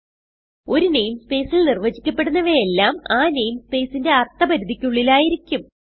ഒരു namespaceൽ നിർവചിക്കപ്പെടുന്നവയെല്ലാം ആ നെയിം സ്പേസിന്റെ അർത്ഥ പരിധിക്കുള്ളിൽ ആയിരിക്കും